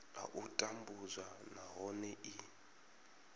a u tambudzwa nahone i